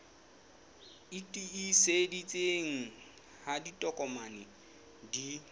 e tiiseditsweng ha ditokomane di